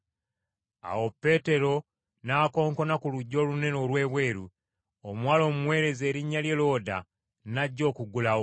Awo Peetero n’akonkona ku luggi olunene olw’ebweru, omuwala omuweereza erinnya lye Looda n’ajja okuggulawo.